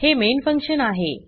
हे main function आहे